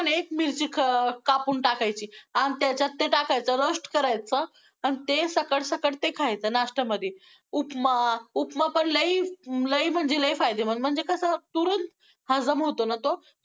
एक मिरची क~कापून टाकायची, आन त्याच्यात ते टाकायचं roast करायचं, आणि ते सकाळ सकाळ ते खायचं नाश्त्यामध्ये उपमा~उपमा पण लय, लय म्हणजे लय फायदेमंद म्हणजे कसं चुरून हजम होतो ना तो.